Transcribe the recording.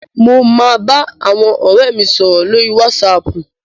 Mo máa bá àwọn ọ̀rẹ́ mi sọ̀rọ̀ lórí wásaapù.